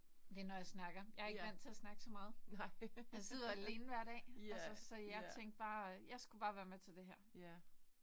Det når jeg snakker. Jeg er ikke vant til at snakke så meget. Jeg sidder alene hver dag og så så jeg tænkte bare jeg skulle bare være med til det her